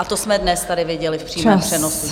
A to jsme dnes tady viděli v přímém přenosu.